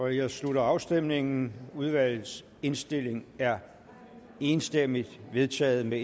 her slutter afstemningen udvalgets indstilling er enstemmigt vedtaget med